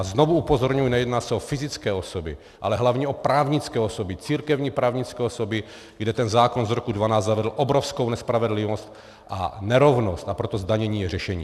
A znovu upozorňuji, nejedná se o fyzické osoby, ale hlavně o právnické osoby, církevní právnické osoby, kde ten zákon z roku 2012 zavedl obrovskou nespravedlivost a nerovnost, a proto zdanění je řešení.